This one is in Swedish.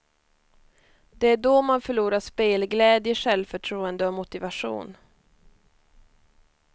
Det är då man förlorar spelglädje, självförtroende och motivation.